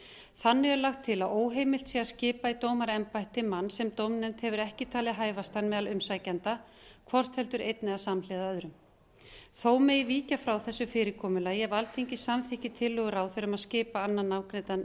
þannig er lagt til að óheimilt sé að skipa í dómaraembætti mann sem dómnefnd hefur ekki talið hæfastan meðal umsækjenda hvort heldur einn eða samhliða öðrum þó megi víkja frá þessu fyrirkomulagi ef alþingi samþykkir tillögu ráðherra um að skipa annan nafngreindan umsækjanda